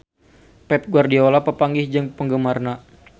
Pep Guardiola papanggih jeung penggemarna